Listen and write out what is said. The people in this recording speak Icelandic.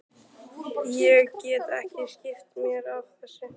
Ég get ekki skipt mér af þessu.